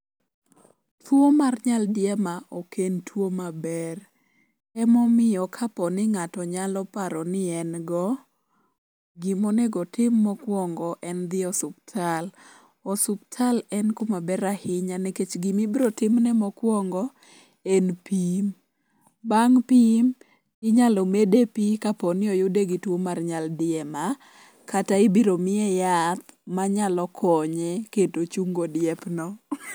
Tuo mar nyaldiema oken tuo maber. Emomiyo kapo ni ng'ato nyalo paro ni en go, gimonego tim mokwongo en dhi osuptal. Osuptal en kumaber ahinya nikech gimibiro timne mokuongo en pim. Bang' pim, inyalo mede pi kaponi oyude gi tuo mar nyaldiema kata ibiro miye yath manyalo konye kendo chungo diep no.